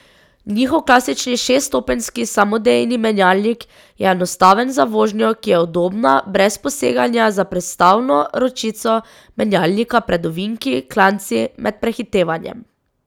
Njihov klasični šeststopenjski samodejni menjalnik je enostaven za vožnjo, ki je udobna, brez poseganja za prestavno ročico menjalnika pred ovinki, klanci, med prehitevanjem ...